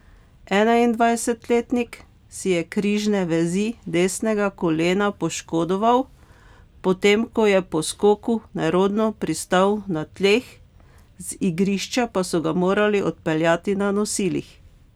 Enaindvajsetletnik si je križne vezi desnega kolena poškodoval, potem ko je po skoku nerodno pristal na tleh, z igrišča pa so ga morali odpeljati na nosilih.